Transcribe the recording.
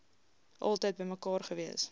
altyd bymekaar gewees